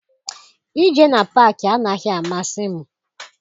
Ije na paakị anaghị amasị m.